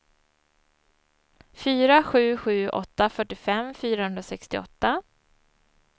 fyra sju sju åtta fyrtiofem fyrahundrasextioåtta